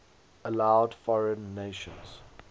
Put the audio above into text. allowed foreign nations